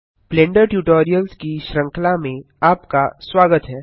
blender tutorials की श्रृंखला में आपका स्वागत है